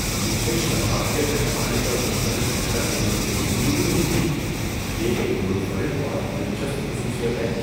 مجھے شراب کے تہہ خانے پر مشتمل گھر ملنے کی امید ہی نہیں تھی – یہ ایک منفرد اور دلچسپ خصوصیت ہے۔